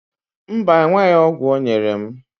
Mba, enweghị ọgwụ ọ nyere m